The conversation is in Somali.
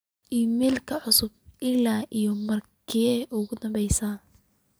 iimayl cusub ilaa iyo markii ugu dambeysay